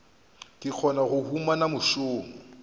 go kgona go humana mešomo